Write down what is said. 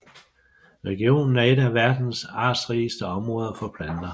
Regionen er et af verdens artsrigeste områder for planter